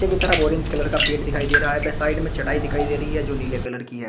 की तरफ orange colour का पेट दिखाई दे रहा है व साइड में चटाई दिखाई दे रही है जो नीले कलर की है।